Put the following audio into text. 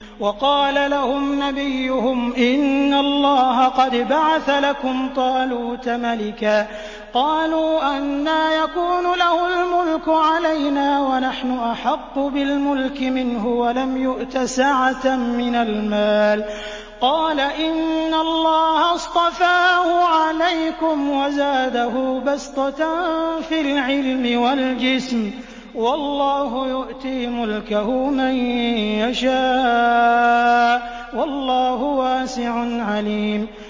وَقَالَ لَهُمْ نَبِيُّهُمْ إِنَّ اللَّهَ قَدْ بَعَثَ لَكُمْ طَالُوتَ مَلِكًا ۚ قَالُوا أَنَّىٰ يَكُونُ لَهُ الْمُلْكُ عَلَيْنَا وَنَحْنُ أَحَقُّ بِالْمُلْكِ مِنْهُ وَلَمْ يُؤْتَ سَعَةً مِّنَ الْمَالِ ۚ قَالَ إِنَّ اللَّهَ اصْطَفَاهُ عَلَيْكُمْ وَزَادَهُ بَسْطَةً فِي الْعِلْمِ وَالْجِسْمِ ۖ وَاللَّهُ يُؤْتِي مُلْكَهُ مَن يَشَاءُ ۚ وَاللَّهُ وَاسِعٌ عَلِيمٌ